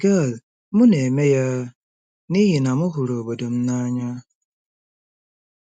Gail: M na-eme ya n'ihi na m hụrụ obodo m n'anya.